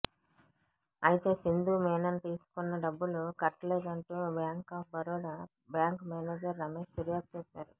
అయితే సింధు మీనన్ తీసుకున్న డబ్బులు కట్టలేదంటూ bank of Baroda bank manager Ramesh ఫిర్యాదు చేశారు